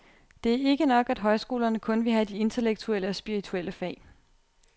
Det er ikke nok, at højskolerne kun vil have de intellektuelle og spirituelle fag.